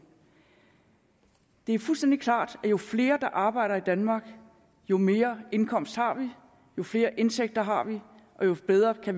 det er fuldstændig klart at jo flere der arbejder i danmark jo mere indkomst har vi jo flere indtægter har vi og jo bedre har